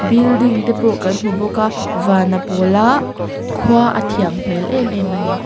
building te pawh kan hmu bawk a van a pawl a khua a thian hmel em em a ni.